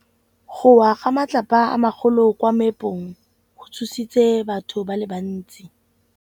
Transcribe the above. Go wa ga matlapa a magolo ko moepong go tshositse batho ba le bantsi.